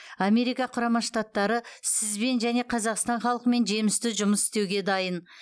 америка құрама штаттары сізбен және қазақстан халқымен жемісті жұмыс істеуге дайын